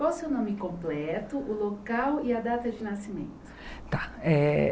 Qual o seu nome completo, o local e a data de nascimento?